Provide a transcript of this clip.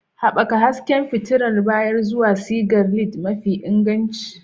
Haɓaka hasken fitilar baya zuwa sigar LED mafi inganci.